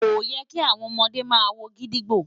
ko yẹ ki awọn ọmọde ma wo gídígbò